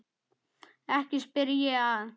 Ekki spyr ég að.